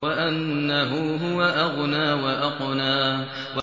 وَأَنَّهُ هُوَ أَغْنَىٰ وَأَقْنَىٰ